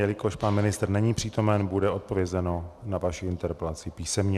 Jelikož pan ministr není přítomen, bude odpovězeno na vaši interpelaci písemně.